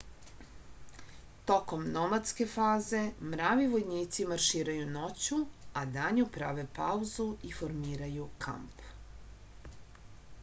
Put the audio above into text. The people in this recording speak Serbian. tokom nomadske faze mravi vojnici marširaju noću a danju prave pauzu i formiraju kamp